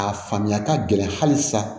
A faamuya ka gɛlɛn hali sa